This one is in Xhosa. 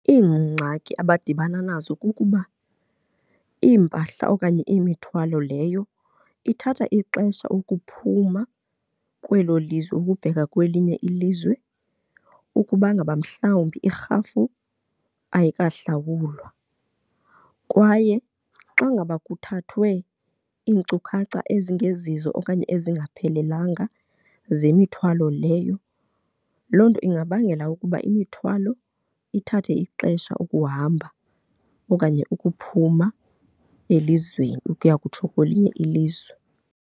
Iingxaki abadibana nazo kukuba iimpahla okanye imithwalo leyo ithatha ixesha ukuphuma kwelo lizwe ukubheka kwelinye ilizwe ukubangaba mhlawumbi irhafu ayikahlawulwa. Kwaye xa ngaba kuthathwe iinkcukacha ezingezizo okanye ezingaphelelanga zemithwalo leyo, loo nto ingabangela ukuba imithwalo ithathe ixesha ukuhamba okanye ukuphuma elizweni ukuya kutsho kwelinye ilizwe.